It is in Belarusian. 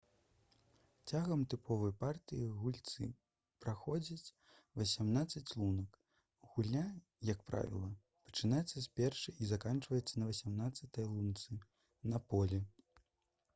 цягам тыповай партыі гульцы праходзяць васямнаццаць лунак гульня як правіла пачынаецца з першай і заканчваецца на васямнаццатай лунцы на полі